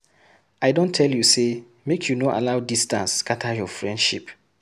I don tell you sey make you no allow distance scatter your friendship.